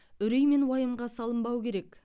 үрей мен уайымға салынбау керек